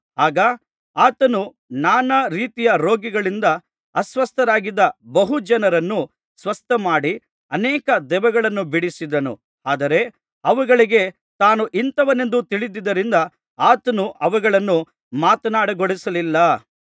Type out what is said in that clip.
ಆಗ ಆತನು ನಾನಾ ರೀತಿಯ ರೋಗಗಳಿಂದ ಅಸ್ವಸ್ಥರಾಗಿದ್ದ ಬಹು ಜನರನ್ನು ಸ್ವಸ್ಥಮಾಡಿ ಅನೇಕ ದೆವ್ವಗಳನ್ನು ಬಿಡಿಸಿದನು ಆದರೆ ಅವುಗಳಿಗೆ ತಾನು ಇಂಥವನೆಂದು ತಿಳಿದಿದ್ದರಿಂದ ಆತನು ಅವುಗಳನ್ನು ಮಾತನಾಡಗೊಡಿಸಲಿಲ್ಲ